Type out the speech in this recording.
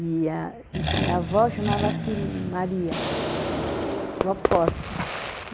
e a e a minha avó chamava-se Maria, Bob Fortes.